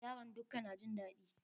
Yaran dukka na jin daɗi